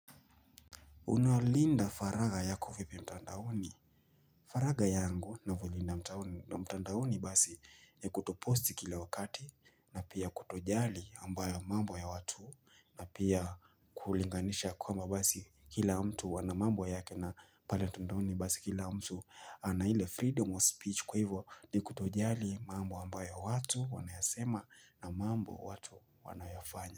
Unalinda faraha yako vipi mtandaoni? Faraga yangu navyolinda mtandaoni basi ya kutoposti kila wakati na pia kutojali ambayo mambo ya watu na pia kulinganisha kwamba basi kila mtu ana mambo yake na pale mtandaoni basi kila mtu ana ile freedom of speech kwa hivo ni kutojali mambo ambayo watu wanayasema na mambo watu wanayafanya.